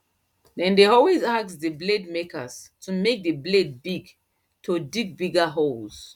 them dey always ask the blade maker to make the blade big to dig bigger holes